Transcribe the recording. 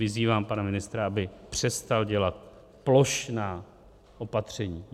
Vyzývám pana ministra, aby přestal dělat plošná opatření.